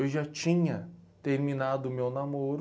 Eu já tinha terminado o meu namoro.